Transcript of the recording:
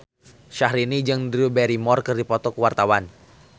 Syahrini jeung Drew Barrymore keur dipoto ku wartawan